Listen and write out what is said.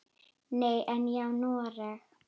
Nei, en ég á Noreg.